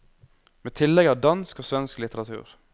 Med tillegg av dansk og svensk litteratur.